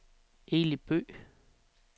Eli Bøgh